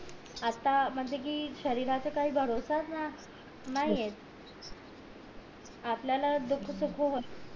आता म्हणजे कि शरीरा चा काय भरोसा ये नाय ये आपल्याला होत